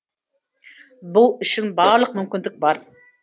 бұл үшін барлық мүмкіндік бар